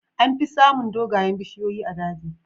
Amfi samun dogayen bishiyoyi a daji.